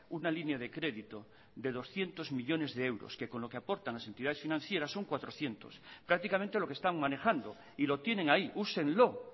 una línea de crédito de doscientos millónes de euros que con lo que aportan las entidades financieras son cuatrocientos prácticamente lo que están manejando y lo tienen ahí úsenlo